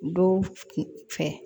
Dɔw fɛ